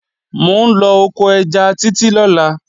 Mò ń lọ oko ẹja Títí lọ́la